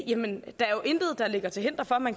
i den